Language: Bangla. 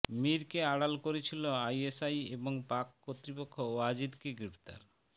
মীরকে আড়াল করছিল আইএসআই এবং পাক কর্তৃপক্ষ ওয়াজিদকে গ্রেফতার